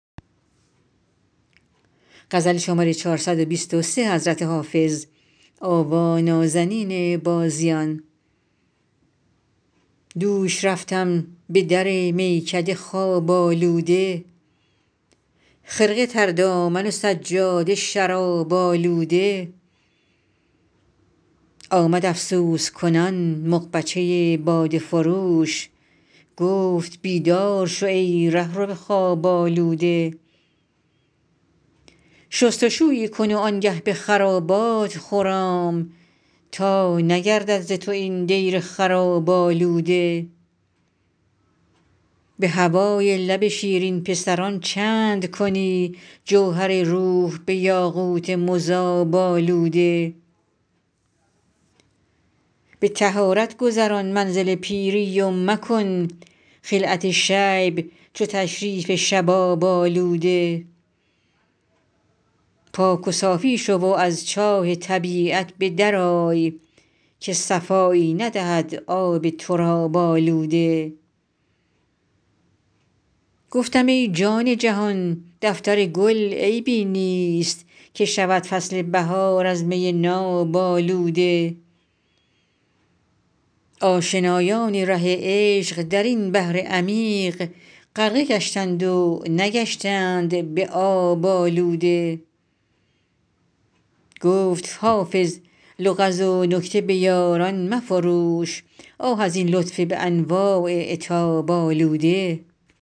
دوش رفتم به در میکده خواب آلوده خرقه تر دامن و سجاده شراب آلوده آمد افسوس کنان مغبچه باده فروش گفت بیدار شو ای رهرو خواب آلوده شست و شویی کن و آن گه به خرابات خرام تا نگردد ز تو این دیر خراب آلوده به هوای لب شیرین پسران چند کنی جوهر روح به یاقوت مذاب آلوده به طهارت گذران منزل پیری و مکن خلعت شیب چو تشریف شباب آلوده پاک و صافی شو و از چاه طبیعت به در آی که صفایی ندهد آب تراب آلوده گفتم ای جان جهان دفتر گل عیبی نیست که شود فصل بهار از می ناب آلوده آشنایان ره عشق در این بحر عمیق غرقه گشتند و نگشتند به آب آلوده گفت حافظ لغز و نکته به یاران مفروش آه از این لطف به انواع عتاب آلوده